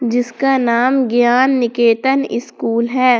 इसका नाम ज्ञान निकेतन इस्कूल है।